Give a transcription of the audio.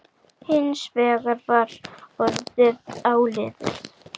Hins vegar var orðið áliðið.